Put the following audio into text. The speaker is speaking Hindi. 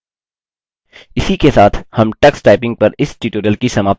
इसी के साथ हम टक्सटाइपिंग पर इस ट्यूटोरियल की समाप्ति की ओर आ गये हैं